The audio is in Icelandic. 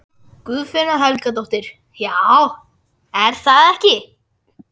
Guðfinna Helgadóttir: Já, er það ekki?